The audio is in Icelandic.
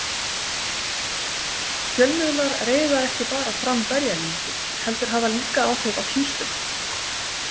Fjölmiðlar reiða ekki bara fram berjalyngið heldur hafa líka áhrif á tínsluna.